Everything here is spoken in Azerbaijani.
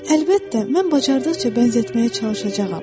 Əlbəttə, mən bacardıqca bənzətməyə çalışacağam.